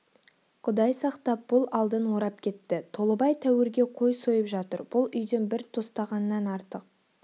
құдай сақтап бұл алдын орап кетті толыбай тәуірге қой сойып жатыр бұл үйден бір тостағаннан артық